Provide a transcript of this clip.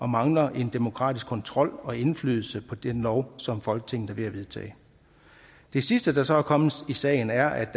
mangler en demokratisk kontrol og indflydelse på den lov som folketinget er ved at vedtage det sidste der så er kommet i sagen er at